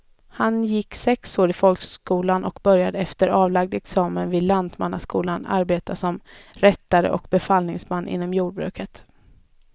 Han gick sex år i folkskolan och började efter avlagd examen vid lantmannaskolan arbeta som rättare och befallningsman inom jordbruket.